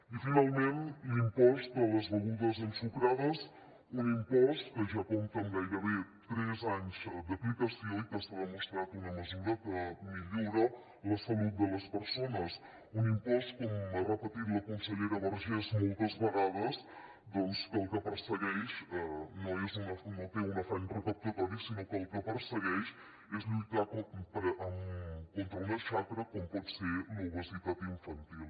i finalment l’impost de les begudes ensucrades un impost que ja compta amb gairebé tres anys d’aplicació i que està demostrat una mesura que millora la salut de les persones un impost com ha repetit la consellera vergés moltes vegades que el que persegueix no té un afany recaptatori sinó que el que persegueix és lluitar contra una xacra com pot ser l’obesitat infantil